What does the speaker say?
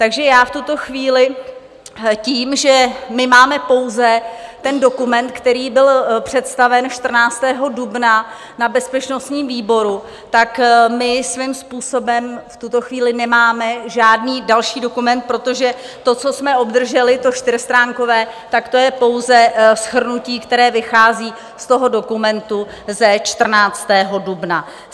Takže já v tuto chvíli tím, že my máme pouze ten dokument, který byl představen 14. dubna na bezpečnostním výboru, tak my svým způsobem v tuto chvíli nemáme žádný další dokument, protože to, co jsme obdrželi, to čtyřstránkové, tak to je pouze shrnutí, které vychází z toho dokumentu ze 14. dubna.